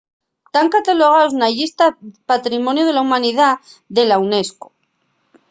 tán catalogaos na llista de patrimoniu de la humanidá de la unesco